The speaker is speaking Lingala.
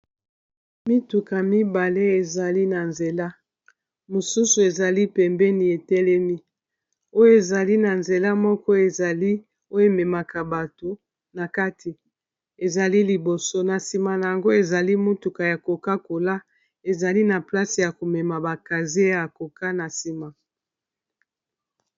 Mituka mibale ezali na nzela, mosusu ezali pembeni etelemi oyo ezali na nzela moko ezali oyo ememaka bato na kati ezali liboso, na nsima na yango ezali motuka ya koka kola ezali na place ya komema bakase ya koka na nsima.